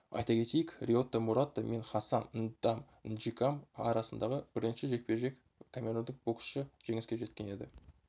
айта кетейік риота мурата мен хассан ндам нжикам арасындағы бірінші жекпе-жекте камерундық боксшы жеңіске жеткен еді